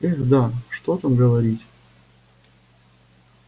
эх да что там говорить